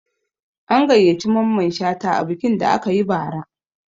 An gayyaci Mamman Shata a bikin da aka yi bara